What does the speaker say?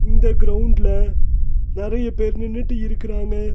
இந்த கிரவுண்ட்ல நெறைய பேர் நின்னுட்டு இருக்குறாங்க.